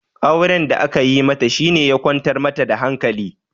Auren da aka yi mata shi ya kwantar mata da hankali